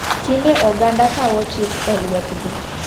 Tinde oganda kawo chik e lwet gi.